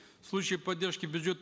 в случае поддержки бюджет